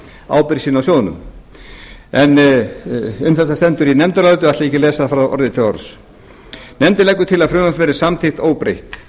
ábyrgð sína á sjóðnum en um þetta stendur í nefndaráliti og ætla ég ekki að lesa það frá orði til orðs nefndin leggur til að frumvarpið verði samþykkt óbreytt